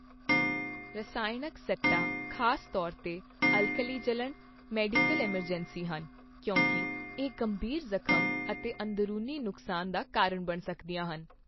ਰਸਾਇਣਕ ਸੱਟਾਂ, ਖ਼ਾਸ ਤੌਰ 'ਤੇ ਅਲਕਲੀ ਜਲਣ, ਮੈਡੀਕਲ ਐੱਮਰਜੈਂਸੀ ਹਨ, ਕਿਉਂਕਿ ਇਹ ਗੰਭੀਰ ਜ਼ਖ਼ਮ ਅਤੇ ਅੰਦਰੂਨੀ ਨੁਕਸਾਨ ਦਾ ਕਾਰਨ ਬਣ ਸਕਦੀਆਂ ਹਨ।